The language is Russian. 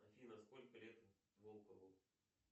афина сколько лет волкову